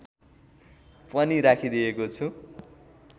पनि राखिदिएको छु